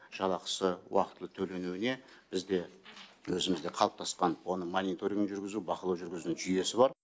жалақысы уақытылы төленуіне бізде өзімізде қалыптасқан оның мониторинг жүргізу бақылау жүргізу жүйесі бар